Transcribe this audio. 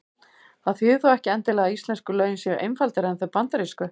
Það þýðir þó ekki endilega að íslensku lögin séu einfaldari en þau bandarísku.